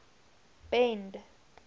bend